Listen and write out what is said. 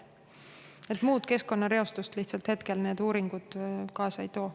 Muud keskkonnareostust need uuringud praegu kaasa ei too.